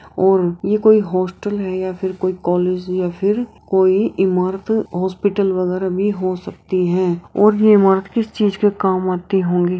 ओर ये कोई हॉस्टल है या फिर कोई कॉलेज या फिर कोई इमारत हॉस्पिटल वगरह भी हो सकती है और ये इमारत किस चीज़ के काम आती होंगी।